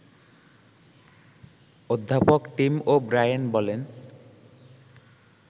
অধ্যাপক Tim O'Brien বলেন